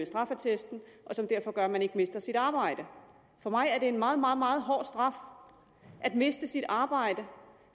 straffeattesten og som derfor gør at man ikke mister sit arbejde for mig er det en meget meget meget hård straf at miste sit arbejde